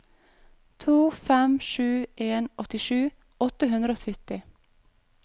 to fem sju en åttisju åtte hundre og sytti